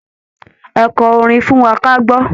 Ẹ kọ orin fún wa kágbọ́!